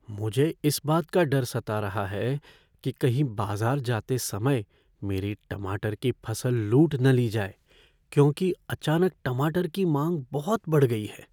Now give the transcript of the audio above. मुझे इस बात का डर सता रहा है कि कहीं बाजार जाते समय मेरी टमाटर की फसल लूट न ली जाए क्योंकि अचानक टमाटर की मांग बहुत बढ़ गई है।